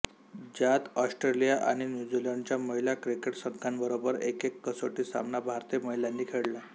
ज्यात ऑस्ट्रेलिया आणि न्यूझीलंडच्या महिला क्रिकेट संघांबरोबर एकएक कसोटी सामना भारतीय महिलांनी खेळला